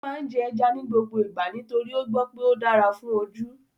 Ó máa ń jẹ́ ẹja ní gbogbo ìgbà nítorí ó gbọ́ pé ó dára fún ojú